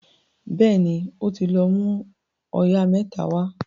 béèni o tí lọ mú oyà mẹ́ta wá